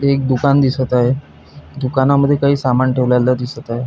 एक दुकान दिसत आहे दुकानमध्ये काही सामान ठेवलेला दिसत आहे.